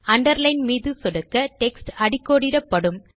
underline மீது சொடுக்க text அடிக்கோடிடப்படும்